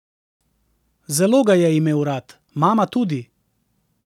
Zelo ga je imel rad, mama tudi.